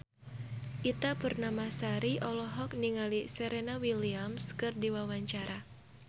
Ita Purnamasari olohok ningali Serena Williams keur diwawancara